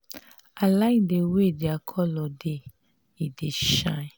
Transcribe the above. i like the way their colour dey. e dey shine.